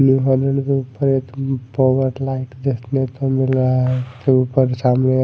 देखने का मिल रहा है ऊपर सामने--